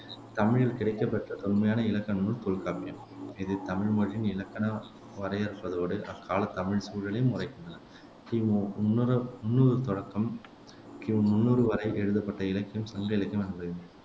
தமிழில் கிடைக்கப்பெற்ற தொன்மையான இலக்கண நூல் தொல்காப்பியம் இது தமிழ் மொழியின் இலக்கண வரையறுப்பதோடு அக்கால தமிழ்ச் சூழலையும் உரைக்கின்றன முன்னூறு தொடக்கம் பொ முன்னூறு வரை எழுதப்பட்ட இலக்கியம் சங்க இலக்கியம் என